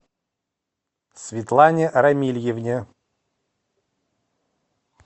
светлане рамильевне